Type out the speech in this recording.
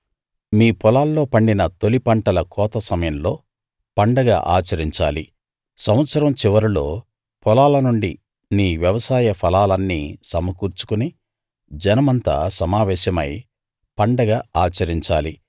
మీ పొలాల్లో పండిన తొలి పంటల కోత సమయంలో పండగ ఆచరించాలి సంవత్సరం చివరలో పొలాల నుండి నీ వ్యవసాయ ఫలాలన్నీ సమకూర్చుకుని జనమంతా సమావేశమై పండగ ఆచరించాలి